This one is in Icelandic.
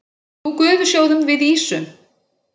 Nú gufusjóðum við ýsu.